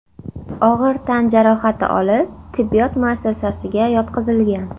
og‘ir tan jarohati olib, tibbiyot muassasasiga yotqizilgan.